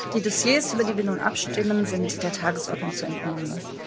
Die Dossiers, über die wir nun abstimmen, sind der Tagesordnung zu entnehmen.